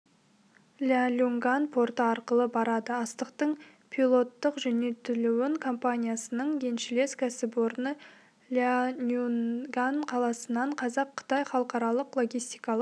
ляньюнган порты арқылы барады астықтың пилоттық жөнелтілуін компаниясының еншілес кәсіпорны ляньюньган қаласының қазақ-қытай халықаралық логистикалық